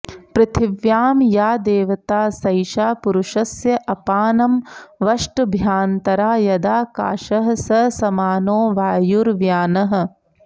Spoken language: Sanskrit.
पृथिव्यां या देवता सैषा पुरुषस्य अपानमवष्टभ्यान्तरा यदाकाशः स समानो वायुर्व्यानः